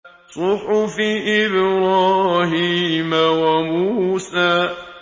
صُحُفِ إِبْرَاهِيمَ وَمُوسَىٰ